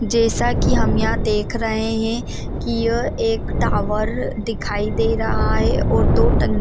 जैसा की हम यहाँ देख रहे है की यह एक टावर दिखाई दे रहा है और दो टंकिया --